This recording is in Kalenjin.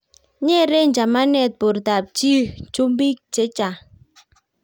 Nyeren chamanet bortab chii chumbik che chang'